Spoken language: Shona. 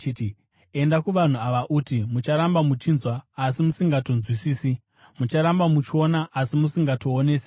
“ ‘Enda kuvanhu ava uti, “Mucharamba muchinzwa asi musingatongonzwisisi; mucharamba muchiona asi musingaonesesi.”